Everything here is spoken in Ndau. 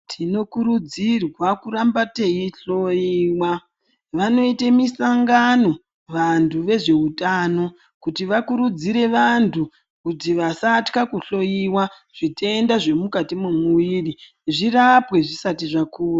Tinokurudzirwa kuramba teihloyiwa vonoite musangano vantu vezveutano kuti vakurudzire vantu kuti vasatya kuhloyiwa zvitenda zvirimukati mwomumuiri zvirapwe zvisati zvakura .